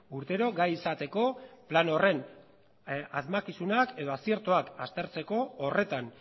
urtero gai izateko plan horren asmakizunak edo aziertoak aztertzeko horretan